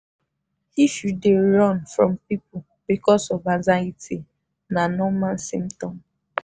if you dey run from people because of anxiety na normal symptom.